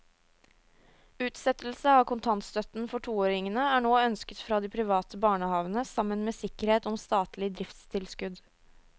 Utsettelse av kontantstøtten for toåringene er nå ønsket fra de private barnehavene sammen med sikkerhet om statlig driftstilskudd.